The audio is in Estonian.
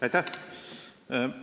Aitäh!